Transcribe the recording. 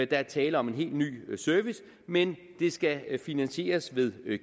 der er tale om en helt ny service men det skal finansieres ved